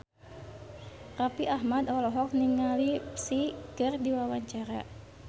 Raffi Ahmad olohok ningali Psy keur diwawancara